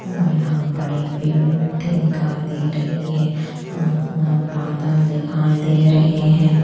और यहाँ बड़े पेड़ मिट्टी दिखाई दे रही है आसमान बादल दिखाई दे रहे हैं।